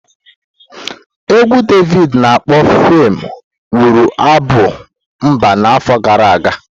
Égwù Davidi ana akpo 'FEM' ghọrọ abụ mba n'afọ gara aga.